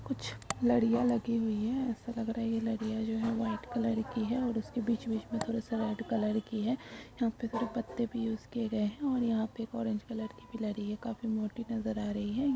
कुछ लड़ियां लगी हुई है ऐसा लग रहा हैं यह लड़ियां है जो हैं वाईट कलर की हैं और उसमे बीच बीच में थोड़ा सा रेड कलर की है यहाँ पे और पत्ते भी यूज की गए हैं और यहां पे एक ओरेंज कलर की एक पिलर है खाफी मोटी नजर आरही है।